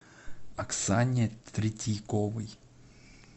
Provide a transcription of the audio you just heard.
оксане третьяковой